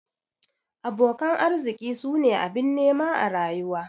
Abokan arziki su ne abin nema a rayuwa.